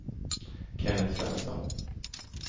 Kennet Svensson